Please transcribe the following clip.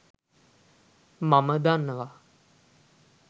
මම දන්නවා.